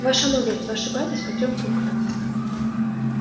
ваша мудрость вы ошибаетесь по трём пунктам